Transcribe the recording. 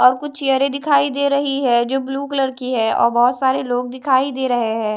और कुछ चेयरें दिखाई दे रही है जो ब्लू कलर की है और बहोत सारे लोग दिखाई दे रहे हैं।